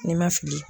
Ni n ma fili